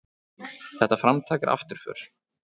Þetta framtak er afturför.